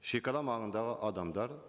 шегара маңындағы адамдар